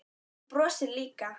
Hún brosir líka.